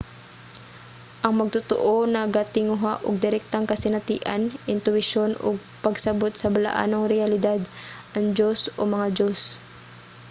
ang magtotoo nagatinguha og direktang kasinatian intuwisyon o pagsabot sa balaanong reyalidad/ang diyos o mga diyos